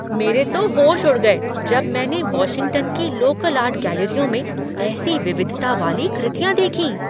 मेरे तो होश उढ़ गए जब मैंने वाशिंगटन की लोकल आर्ट गैलरियों में ऐसी विविधता वाली कृतियाँ देखीं।